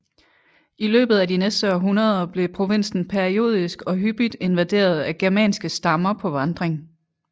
I løbet af de næste århundreder blev provinsen periodisk og hyppigt invaderet af germanske stammer på vandring